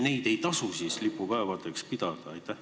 Äkki ei tasu neid siis lipupäevadeks pidada?